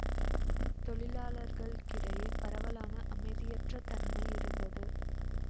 தொழிலாளர்களிடையே பரவலான அமைதியற்றத் தன்மை இருந்தது